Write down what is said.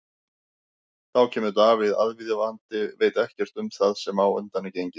Þá kemur Davíð aðvífandi og veit ekkert um það sem á undan er gengið.